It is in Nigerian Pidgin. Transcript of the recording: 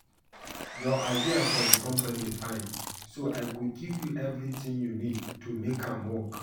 Your idea for the company fine so I go give you everything you need to make am work